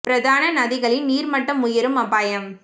பிரதான நதிகளின் நீர் மட்டம் உயரும் அபாயம்